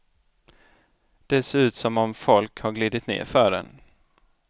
Det ser ut som om folk har glidit ner för den.